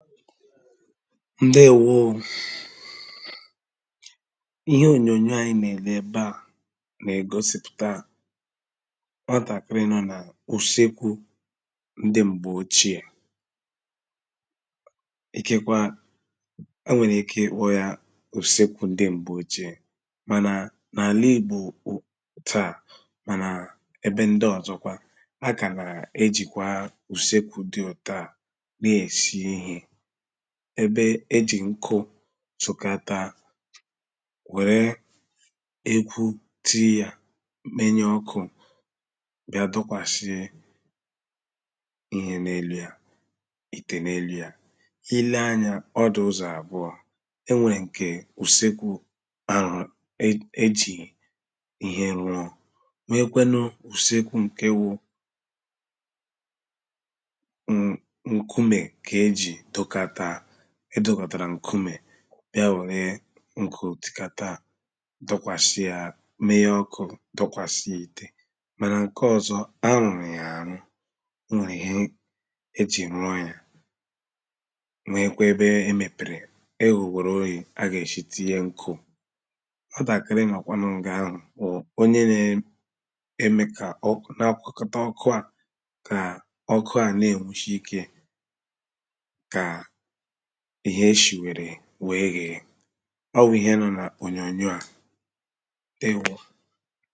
Ǹdeēwoō ō Ihe ònyònyò à ànyi nà-èle ebe à n’ ègosìpùta nwatàkịrị nọ nà ùsekwu ǹdị̄ m̀gbè ochìe ikekwa, e nwèrè ike Ìkpo yà ùsekwu ǹdị̄ m̀gbè ochìē mànà n’ àla Igbò ụ.. taā mànà ebe ǹdị̄ ọzọ kwa a kà nà e jị̀kwà ùsekwu dị ètu à nà-èsi ihe ebe ejị ǹkụ sukata wère ekwu tinye yà menye ọkụ bịā dọkwàsị ihe n’ elu ya ìtè n’ elu ya I leē anya ọ dị uzọ̀ àbụọ̄ enwèrè ǹke ùsekwu arụ̀rụ̀ e.. e jì ihe rụọ̄, nwekwenu ùsekwu ǹkè wụ̀ nk.. ǹkumē kà e jì dokata e dòkòtàrà ǹkumē bịā wère ǹkụ tukata dokwàsi yà menye ọkụ dokwàsi ya ìtè mànà nke ọzọ, arụ̀rụ̀ yà àrụ, o nwèrè ihe e jì rụọ̄ ya nwekwe ebe e mèpèrè, eyègwòrù ōye a gà èshi tinye ǹkụ Nwatàkịrị nọ kwanụ ǹgaa ahụ̀ bụ̀ onye na eme ka ọkụ n’ akwọkata ọkụ ahụ kà ọkụ ahụ̀ na-ènwushi ikē kà ihe eshìẉèrè weē yèē. Ọ wụ̀ ihe nọ nà ònyònyò à Ǹdeēwo